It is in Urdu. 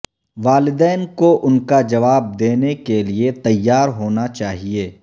والدین کو ان کا جواب دینے کے لئے تیار ہونا چاہئے